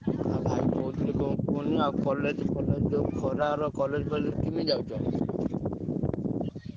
ଭାଇ କଣ କହୁଥିଲି କୁହନି college ଖରାରେ କେମିତି ଯାଉଛ?